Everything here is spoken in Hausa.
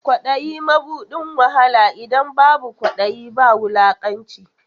Kwaɗayi mabuɗin wahala, idan babu kwaɗayi ba wulakanci.